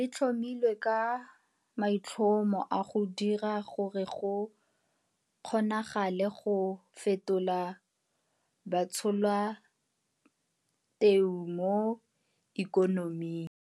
Le tlhomilwe ka maitlhomo a go dira gore go kgonagale go fetola batsholateu mo ikonoming.